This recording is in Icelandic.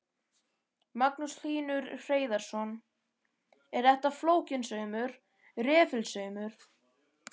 Magnús Hlynur Hreiðarsson: Er þetta flókinn saumur, refilsaumur?